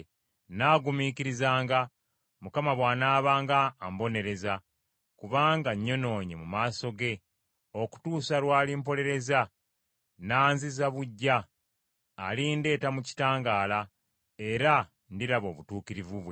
Nnaagumikirizanga Mukama bw’anaabanga ambonereza, kubanga nnyonoonye mu maaso ge, okutuusa lw’alimpolereza, n’anziza buggya. Alindeeta mu kitangaala, era ndiraba obutuukirivu bwe.